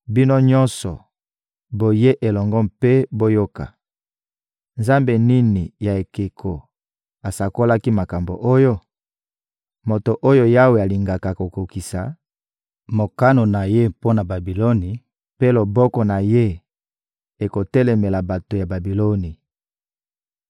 Bino nyonso, boya elongo mpe boyoka: Nzambe nini ya ekeko asakolaki makambo oyo? Moto oyo Yawe alingaka akokokisa mokano na Ye mpo na Babiloni, mpe loboko na ye ekotelemela bato ya Babiloni.